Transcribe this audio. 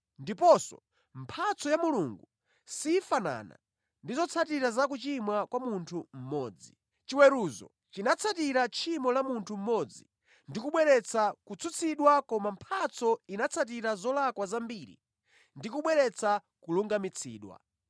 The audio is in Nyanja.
Ndiponso, mphatso ya Mulungu sifanana ndi zotsatira za kuchimwa kwa munthu mmodzi. Chiweruzo chinatsatira tchimo la munthu mmodzi ndi kubweretsa kutsutsidwa koma mphatso inatsatira zolakwa zambiri ndi kubweretsa kulungamitsidwa.